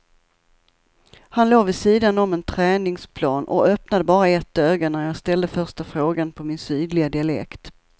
Han låg vid sidan om en träningsplan och öppnade bara ett öga när jag ställde första frågan på min sydliga dialekt.